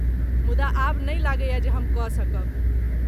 मुदा आब नहि लगैऐ जे हम कऽ सकब।